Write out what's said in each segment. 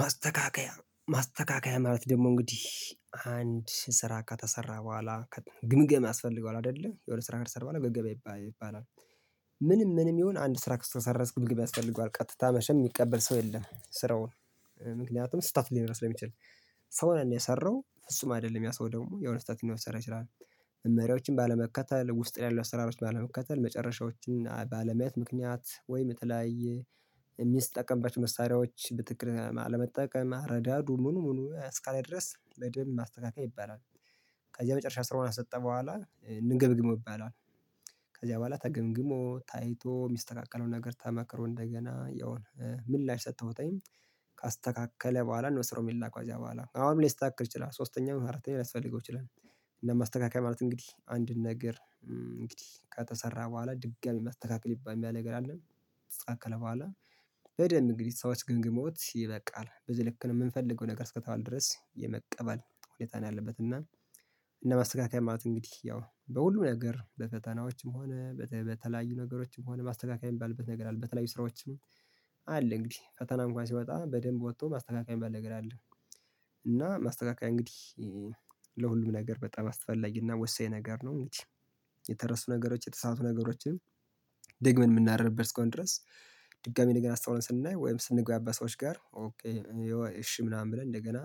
ማስተካከያ ማስተካከያ ማለት ደግሞ እንግዲህ አንድ ስራ ከተሰራ በኋላ ግምገማ ያስፈልገዋል አይደለ የሆነ ስራ ከተሰራ በኋላ ግምገማ ይባላል። ምንም ምንም ይሁን አንድ ስራ ከተሰራ ግምገማ ያስፈልገዋል ቀጥታ መቼም የሚቀበል ሰው የለም። ስራውን ምክንያቱም ስህተት ሊኖረው ስለሚችል። ሰውና የሰራው ፍጹም አይደለም ያ ሰው ደግሞ የሆነ ስህተት ሊሰራ ይችላል። መመሪያዎችን ባለመከተል ውስጥ ላይ ያሉ አሰራሮችን ባለመከተል መጨረሻዎችን ባለማየት ምክንያት ወይም የተለያየ የሚጠቀምባቸው መሳሪያዎች በትክክል አለመጠቀም አረዳዱ ምኑ ምኑ እስከ ላይ ድረስ በደንብ ማስተካከያ ይባላል። ከዚያ መጨረሻ ስራውን ከሰጠ በኋላ እንገምግመው ይባላል። ከዚያ በኋላ ተገምግሞ ታይቶ የሚስተካከለው ነገር ተመክሮ እንደገና ያውም ምላሽ ሰጥተውታል። ካስተካከለ በኋላ ነው ስራው የሚላከው ከዛ በኋላ አሁንም ላይስተካከል ይችላል ሶስተኛም አራተኛም ሊያስፈልገው ይችላል። እና ማስተካከያ ማለት እንግዲህ አንድን ነገር እንግዲህ ከተሰራ በኋላ ድጋሚ ማስተካከል የሚባል ነገር አለን። ካለ በኋላ በደንብ እንግዲህ ሰዎች ገምግመውት ይበቃል በዚህ ልክ ነው የምንፈልገው ነገር እስከ ተባለ ድረስ የመቀበል ሁኔታ ነው። ያለበት እና እንደ ማስተካከያ ማለት እንግዲህ ያው በሁሉም ነገር በፈተናዎችም ሆነ በተለያዩ ነገሮችም ሆነ ማስተካከያ የሚባልበት ነገር አለ። በተለያዩ ስራዎችም አለ እንግዲህ ፈተና እንኳን ሲወጣ በደንብ ወጥቶ ማስተካከያ የሚባል ነገር አለ። እና ማስተካከያ እንግዲህ ለሁሉም ነገር በጣም አስፈላጊ እና ወሳኝ ነገር ነው። እንግዲህ የተረሱ ነገሮች የተሳሳቱ ነገሮችም ደግመን የምናርምበት እስከሆነ ድረስ። ድጋሚ ነገር አስተውለን ስናይ ወይም ስንግባባ ከሰዎች ጋር ኦኬ እሺ ምናምን ብለን እንደገና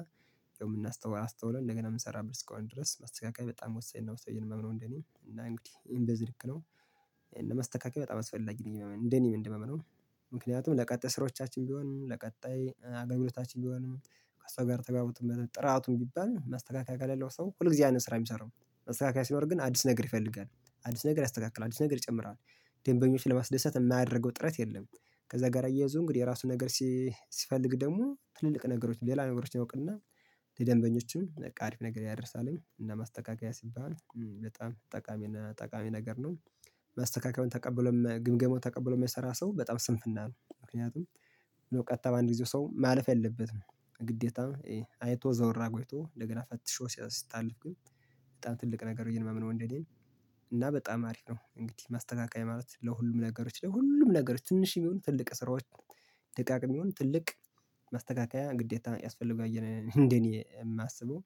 አስተውለን እንደገና የምሰራበት እስከሆነ ድረስ ማስተካከያ በጣም ወሳኝና ወሳኝ ነው። ብዬ ነው የማምነው እንደኔ እና እንግዲህ በዚህ ልክ ነው። ማስተካከያ በጣም አስፈላጊ ነው እንደኔ የማምነው። ምክንያቱም ለቀጣይ ስራዎቻችን ቢሆንም ለቀጣይ አገልግሎታችንም ቢሆን ከሰው ጋር ተግባብቶም ጥራቱ ቢባል ማስተካከያ ከሌለው ሰው ሁል ጊዜ ያንን ስራ ነው የሚሰራው። ማስተካከያ ሲኖር ግን አዲስ ነገር ይፈልጋል። አዲስ ነገር ያስተካክላል አዲስ ነገር ይጨምራል። ደንበኞችን ለማስደሰት የማያደርገው ጥረት የለም። ከዛ ጋር አያይዞ እንግዲህ የራሱ ነገር ሲፈልግ ደግሞ ትልልቅ ነገሮች ሌላ ነገሮች ያውቅና ለደንበኞችም አሪፍ ነገር ያደርሳልኝ እና ማስተካከያ ሲባል በጣም ጠቃሚ እና ጠቃሚ ነገር ነው። ማስተካከሚያውን ተቀብሎ ግምገማውን ተቀብሎ የሚሰራ ሰው በጣም ስንፍና ነው ምክንያቱም ነው ቀጥታ በአንድ ጊዜው ሰው ማለፍ የለበትም። ግዴታ አይቶ ዞር አርጎ ቆይቶ እንደገና ፈትሾ ሲታለፍ ግን በጣም ትልቅ ነገር ብዬ የማምነው እንደኔ። እና በጣም አሪፍ ነው እንግዲህ ማስተካከያ ማለት ለሁሉም ነገሮች ለሁሉም ነገሮች ትንሽ ይሁኑ ትልቅ ስራዎች ደቃቅም ይሁን ትልቅ ማስተካከያ ግዴታ ያስፈልጋል ብዬ ነው እንደኔ የማስበው።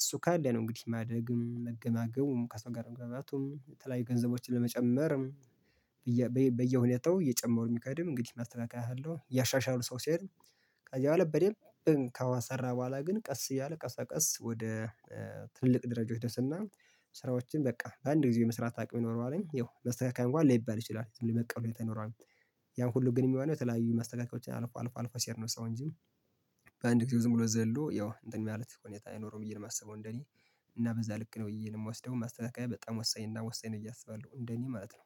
እሱ ካለ ነው እንግዲህ ማድረግም መገማገሙም ከሰው ጋር መግባባቱም የተለያዩ ገንዘቦችን ለመጨመርም በየሁኔታው እየጨመሩ የሚኬድም እንግዲህ ማስተካከያ ካለው እያሻሻሉ ሰው ሲሄድ። ከዚያ በደንብ ከሰራ በኋላ ግን ቀስ እያለ ቀስ በቀስ ወደ ትልቅ ደረጃዎች ይደርስና። ስራዎችን በቃ በአንድ ጊዜ የመስራት አቅም ይኖረዋል ያው መስተካከያ እንኳን ላይባል ይችላል ዝም ብሎ የመቀበል ሁኔታ ይኖረዋል ያው። ያሁሉ ግን የሚሆነው ተለያዩ ማስተካከያዎች አልፎ አልፎ አልፎ ሲሄድ ነው ሰው እንጂ። በአንድ ጊዜ ዝም ብሎ ዘሎ ያው እንትን ማለት ሁኔታ አይኖረውም ብዬ ነው የማስበው እንደኔ። እና በዛ ልክ ነው ብዬ ነው የምወስደው ማስተካከያ በጣም ወሳኝ እና ወሳኝ ነው ብዬ አስባለው እንደኔ ማለት ነው።